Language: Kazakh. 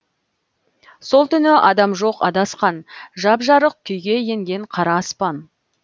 сол түні адам жоқ адасқан жап жарық күйге енген қара аспан